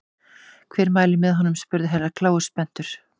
Hver mælir með honum spurði Herra Kláus spenntur.